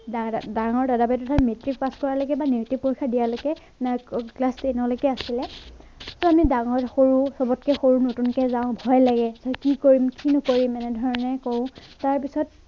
ডাঙৰ দাদা বাইদেউ মেট্ৰিক পাছ কৰা লৈকে বা মেট্ৰিক পৰীক্ষা দিয়ালৈকে class ten লৈকে আছিলে ডাঙৰ সৰু চাবটকে সৰু নতুনকে যাওঁ ভয় লাগে কি কৰিম কি নকৰিম এনে ধৰণে কৰো তাৰ পিছত